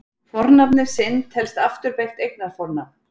Fornafnið sinn telst afturbeygt eignarfornafn.